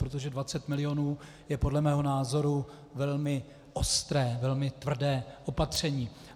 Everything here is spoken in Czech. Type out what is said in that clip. Protože 20 mil. je podle mého názoru velmi ostré, velmi tvrdé opatření.